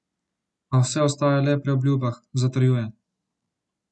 A vse ostaja le pri obljubah, zatrjuje.